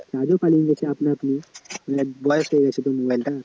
আপনা আপনি বয়স হয়ে গেছে তো mobile টার